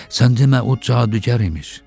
Sən demə o cadugar imiş.